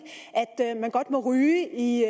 at man godt må ryge i